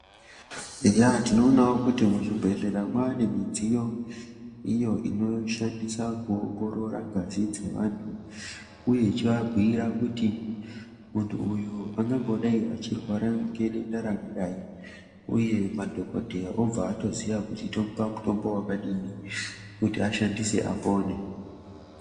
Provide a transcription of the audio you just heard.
Eya tinoonawo kuti muzhibhedhlera mwanemidziyo iyo inoshandiswa kuongorora ngazi dzevanhu uye ichiva bhuyira kuti muntu uyu angangodai echirwara ngedenda rakadai uye madhokodheya obvatoziya kuti tomupa mutombo wakadini kuti ashandise apone.